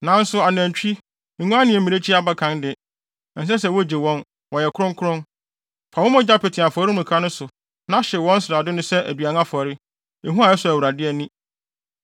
“Nanso anantwi, nguan ne mmirekyi mmakan de, ɛnsɛ sɛ wogye wɔn; wɔyɛ kronkron. Fa wɔn mogya pete afɔremuka no so na hyew wɔn srade no sɛ aduan afɔre, ehua a ɛsɔ Awurade ani.